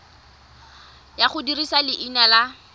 ya go dirisa leina la